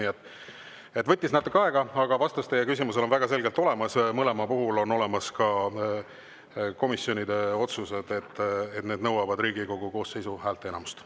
Nii et võttis natuke aega, aga vastus teie küsimusele on väga selge: mõlema puhul on olemas ka komisjonide otsus, et need nõuavad Riigikogu koosseisu häälteenamust.